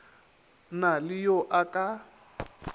na le yo a ka